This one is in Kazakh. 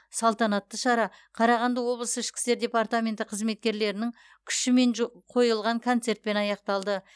салтанаты шара қарағанды облысы ішкі істер департаменті қызметкерлерінің күшімен жо қойылған концертпен аяқталды